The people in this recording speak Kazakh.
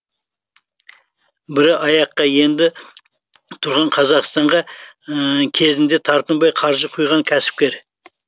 бірі аяққа енді тұрған қазақстанға кезінде тартынбай қаржы құйған кәсіпкер